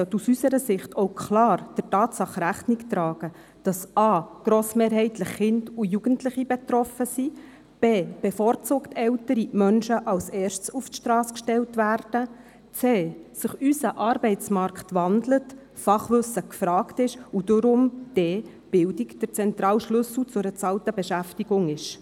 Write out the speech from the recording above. Ein Sozialhilfegesetz sollte aus unserer Sicht auch klar der Tatsache Rechnung tragen, dass A grossmehrheitlich Kinder und Jugendliche betroffen sind, B bevorzugt ältere Menschen als Erste auf die Strasse gestellt werden, C sich unser Arbeitsmarkt wandelt, Fachwissen gefragt ist und darum D Bildung der zentrale Schlüssel zu einer bezahlten Beschäftigung ist.